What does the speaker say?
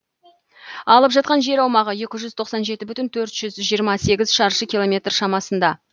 алып жатқан жер аумағы екі жүз тоқсан жеті бүтін төрт жүз жиырма сегіз шаршы километр шамасында